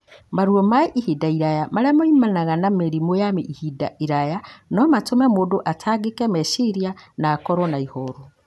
Maruo ma ihinda iraya marĩá maumanaga na mĩrimũ ya ihinda iraya no matũme mũndũ atangĩke meciria na akorwo na ihoru.